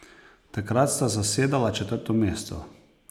Takrat sta zasedala četrto mesto.